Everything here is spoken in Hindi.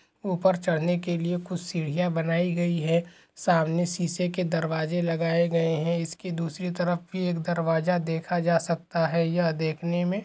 ऊपर चढ़ने के लिए कुछ सीढिया बनाई गई हे सामने शीशे के दरवाजे लगाए गए है इसकी दूसरी तरफ भी एक दरवाज़ा देखा जा सकता है यह देखने मे--